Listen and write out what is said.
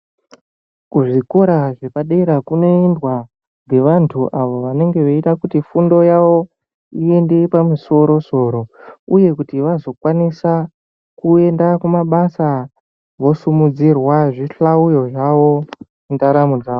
Kuzvikora zvepadera kunoendwa ngevantu avo vanenge veida kuti fundo yavo ive yepamusoro soro uye kuti vazokwanisa kuenda kumabasa vosimudzirwa zvihlauyo zvavo mundaramo dzavo.